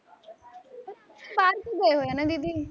ਬਾਹਰ ਕਿਉ ਗਏ ਹੋਏ ਨੇ ਦੀਦੀ